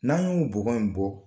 N'an y'o bɔgɔ in bɔ